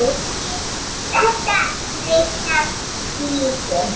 Við þetta slitnar flíkin.